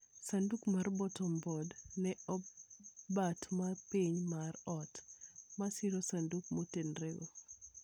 Sanduk mar Bottom Board ma e bat ma piny mar ot, ma siro sanduk motenorego.